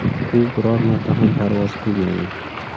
U biror marta ham parvoz qilmagan.